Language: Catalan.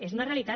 és una realitat